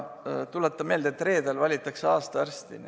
Tuletan meelde, et reedel valitakse aasta arsti.